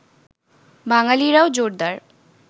বাঙালিরাও জোরদার